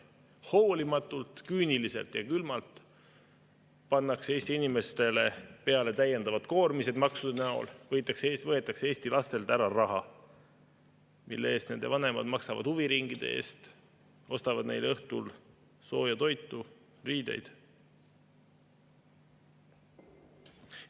Maksude näol pannakse hoolimatult, küüniliselt ja külmalt Eesti inimeste peale täiendavad koormised, Eesti lastelt võetakse ära raha, mille eest nende vanemad oleksid maksnud huviringide eest, ostnud neile õhtul sooja toitu, riideid.